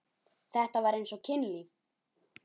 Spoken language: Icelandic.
Þetta var eins og kynlíf.